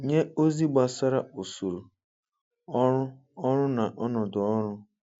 Nye ozi gbasara usoro, ọrụ ọrụ na ọnọdụ ọrụ